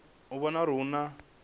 u vhona uri hu na